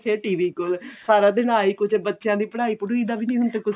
ਫਿਰ TV ਕੋਲ ਸਾਰਾ ਦਿਨ ਆਹੀ ਕੁੱਝ ਬੱਚਿਆਂ ਦੀ ਪੜਾਈ ਪੜੁਈ ਦਾ ਵੀ ਹੁਣ ਕੁੱਝ